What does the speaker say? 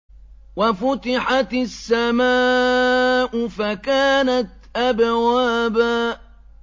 وَفُتِحَتِ السَّمَاءُ فَكَانَتْ أَبْوَابًا